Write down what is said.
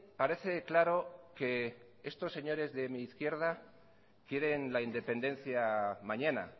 parece claro que estos señores de mi izquierda quieren la independencia mañana